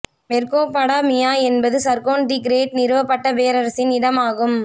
மெர்கோபாடாமியா என்பது Sargon the Great நிறுவப்பட்ட பேரரசின் இடம் ஆகும்